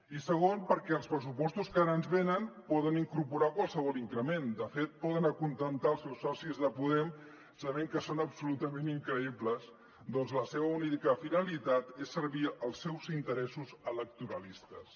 i segon perquè els pressupostos que ara ens venen poden incorporar qualsevol increment de fet poden acontentar els seus socis de podem sabent que són absolutament increïbles perquè la seva única finalitat és servir als seus interessos electoralistes